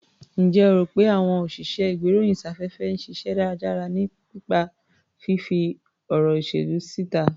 Ǹjẹ́ o rò pé àwọn òsìṣẹ́-ìgbéròyìn-sáfẹ́fẹ́ ń ṣiṣẹ́ tó dára nípa fífí ọ̀rọ̀ ìṣèlú síta?